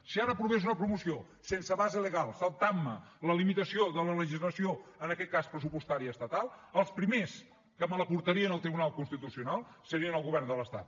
si ara aprovés una promoció sense base legal saltant me la limitació de la legislació en aquest cas pressupostària estatal el primer que me la portaria al tribunal constitucional seria el govern de l’estat